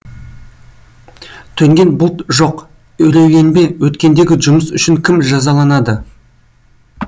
төнген бұлт жоқ үрейленбе өткендегі жұмыс үшін кім жазаланады